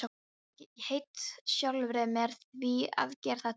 Ég hét sjálfri mér því að gera þetta aldrei aftur.